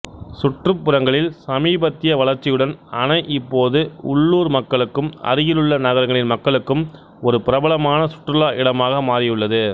சுற்றுப்புறங்களில் சமீபத்திய வளர்ச்சியுடன் அணை இப்போது உள்ளூர் மக்களுக்கும் அருகிலுள்ள நகரங்களின் மக்களுக்கும் ஒரு பிரபலமான சுற்றுலா இடமாக மாறியுள்ளது